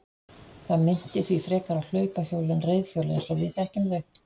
Það minnti því frekar á hlaupahjól en reiðhjól eins og við þekkjum þau.